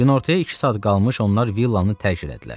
Günortaya iki saat qalmış onlar villanı tərk elədilər.